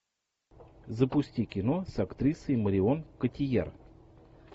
запусти кино с актрисой марион котийяр